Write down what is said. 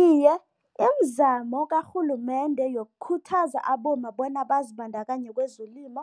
Iye, imizamo karhulumende yokukhuthaza abomma bona bazibandakanye kwezelimo